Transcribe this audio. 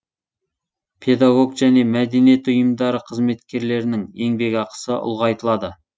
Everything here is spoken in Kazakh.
педагог және мәдениет ұйымдары қызметкерлерінің еңбекақысы ұлғайтылады